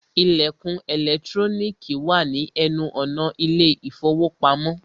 Ìlẹ̀kùn ẹ̀lẹ́trónìkì wà ní ẹnu ọ̀nà ilé ìfọwọ́pamo.